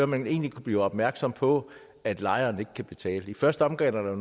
man egentlig kan blive opmærksom på at lejeren ikke kan betale i første omgang er der